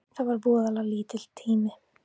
Það var voðalega lítill tími.